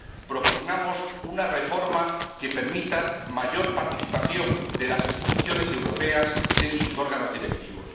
propugnamos una reforma que permita mayor participación de las instituciones europeas en sus órganos directivos.